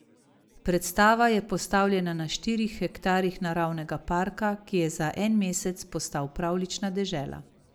Predstava je postavljena na štirih hektarih naravnega parka, ki je za en mesec postal pravljična dežela.